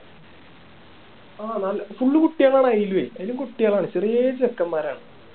ആഹ് നല്ല full കുട്ടികളാണ് അയിലുവേ അയിലും കുട്ടികളാണ് ചെറിയേ ചെക്കന്മാരാണ്